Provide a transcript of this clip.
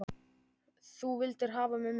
Þú vildir hafa mig með.